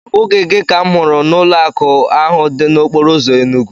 Ọ bụghị gị ka m hụrụ n'ụlọakụ ahụ dị n'okporoụzọ Enugu?